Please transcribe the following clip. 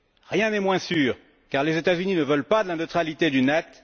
Rien n'est moins sûr car les États Unis ne veulent pas de la neutralité du net.